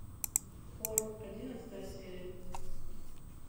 хор одиннадцатая серия